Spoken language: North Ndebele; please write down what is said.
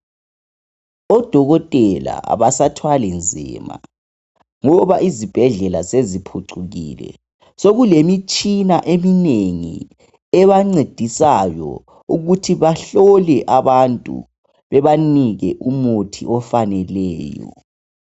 Odokotela abasathwali nzima ngoba izibhedlela seziphucukile sokulemitshina eminengi ebancedisayo ukuthi bahlole abantu bebanike umuthi ofaneleyo.